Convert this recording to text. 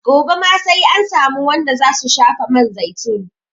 Gobe ma sai an samu wanda za su shafa man zaitun.